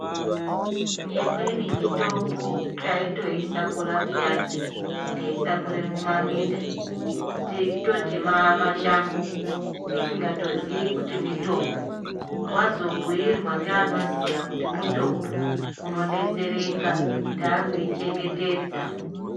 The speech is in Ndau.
Imweni mitombo taitoishakura pheyani teishakure mumaminda, teitoti mashango tisingatozii kuti mitombo. Wazobhuirwa ngeanoziya kuti mutombo unodetsereka, taakui chengetedza.